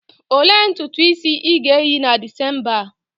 Olee ntutu isi ị ga-eyi na December a?